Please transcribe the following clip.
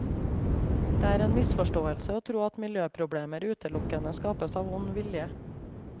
Det er en misforståelse å tro at miljøproblemer utelukkende skapes av ond vilje.